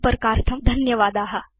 संपर्कार्थं धन्यवादा